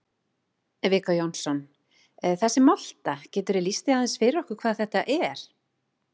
Viggó Jónsson: Þessi molta, geturðu lýst því aðeins fyrir okkur hvað þetta er?